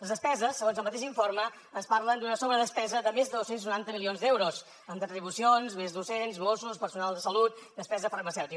les despeses segons el mateix informe ens parlen d’una sobredespesa de més de dos cents i noranta milions d’euros en retribucions més docents mossos personal de salut i despesa farmacèutica